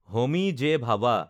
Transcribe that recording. Homi J. Bhabha